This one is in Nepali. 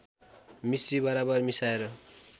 मिस्री बराबर मिसाएर